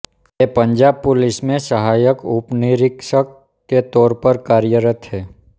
ये पंजाब पुलिस में सहायक उपनिरीक्षक के तौर पर कार्यरत है